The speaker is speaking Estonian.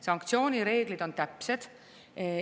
Sanktsioonireeglid on täpsed.